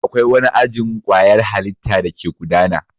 Akwai wani ajin kwayar halitta dake gudana.